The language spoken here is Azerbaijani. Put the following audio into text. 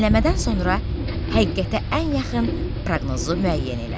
Dinləmədən sonra həqiqətə ən yaxın proqnozu müəyyən elə.